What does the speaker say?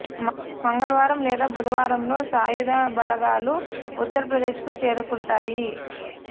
మంగళవారం లేదా బుధవారంలో సాయుధ బలగాలు ఉత్తర్ ప్రదేశ్ కు చేరుకుంటాయి